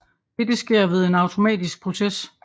Dette sker ved en automatisk proces